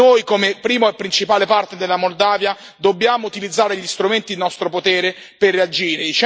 Noi, come primo e principale partner della Moldova, dobbiamo utilizzare gli strumenti in nostro potere per reagire.